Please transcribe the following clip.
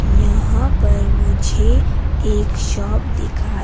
यहां पर मुझे एक शॉप दिखा--